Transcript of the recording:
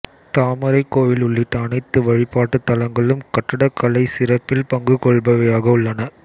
தாமரைக் கோயில் உள்ளிட்ட அனைத்து வழிபாட்டுத் தலங்களும் கட்டடக்கலைச் சிறப்பில் பங்கு கொள்பவையாக உள்ளன